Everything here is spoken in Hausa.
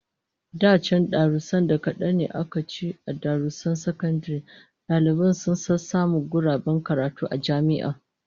Da can, da 'yan darussan kadan da aka ci a darussan sakandare, dalibai sun sassamu guraben karatu a jami'a